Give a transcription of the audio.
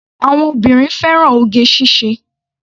Àwọn obìnrin fẹ́ràn oge ṣíṣe.